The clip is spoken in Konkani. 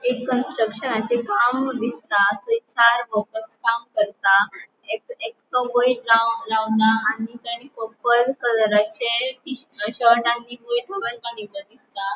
एक कन्स्ट्रक्शनाचे काम दिसता थंय काई वर्कर्स काम करता एक एकटो वयर राव रावला आणि ट आणि पर्पल कलरचे शर्ट आणि वयर टॉवेल बांनिलों दिसता.